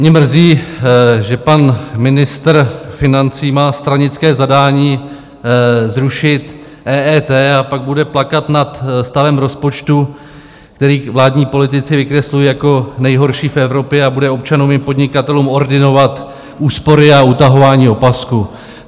Mě mrzí, že pan ministr financí má stranické zadání zrušit EET, a pak bude plakat nad stavem rozpočtu, který vládní politici vykreslují jako nejhorší v Evropě, a bude občanům i podnikatelům ordinovat úspory a utahování opasků.